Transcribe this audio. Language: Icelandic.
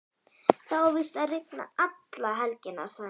Það á víst að rigna alla helgina, sagði hún.